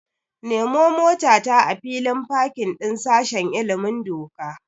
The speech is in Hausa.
Nemo motata a filin fakin din sashen ilimin doka.